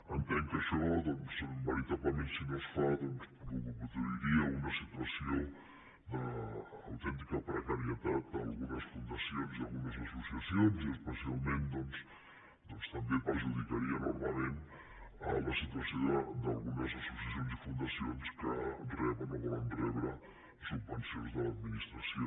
entenc que això doncs veritablement si no es fa produiria una situació d’autèntica precarietat a algunes fundacions i a algunes associacions i especialment doncs també perjudicaria enormement la situació d’algunes associacions i fundacions que reben o volen rebre subvencions de l’administració